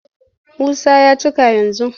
Musa ya cika yanzu.